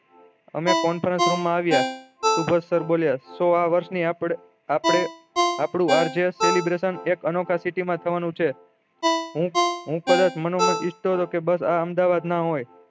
અમે conference room માં આવ્યા સુભાસ સર બોલ્યા સૌ આ વર્ષ ની આપળે આપળે આર જે celebration એક અનોખા સીટી માં થવાનું છે હું કોઈક આ અમદાવાદ ન હોય